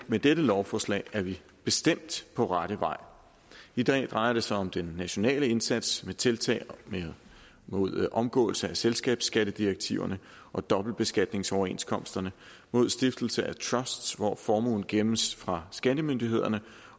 med dette lovforslag er vi bestemt på rette vej i dag drejer det sig om den nationale indsats med tiltag mod omgåelse af selskabsskattedirektiverne og dobbeltbeskatningsoverenskomsterne mod stiftelse af trusts hvor formuen gemmes fra skattemyndighederne